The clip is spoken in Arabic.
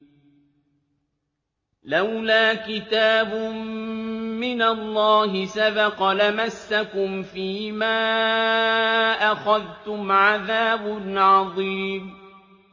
لَّوْلَا كِتَابٌ مِّنَ اللَّهِ سَبَقَ لَمَسَّكُمْ فِيمَا أَخَذْتُمْ عَذَابٌ عَظِيمٌ